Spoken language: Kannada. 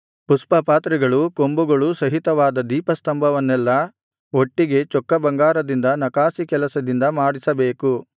ಪುಷ್ಪಪಾತ್ರೆಗಳೂ ಕೊಂಬುಗಳೂ ಸಹಿತವಾದ ದೀಪಸ್ತಂಭವನ್ನೆಲ್ಲಾ ಒಟ್ಟಿಗೆ ಚೊಕ್ಕ ಬಂಗಾರದಿಂದ ನಕಾಸಿ ಕೆಲಸದಿಂದ ಮಾಡಿಸಬೇಕು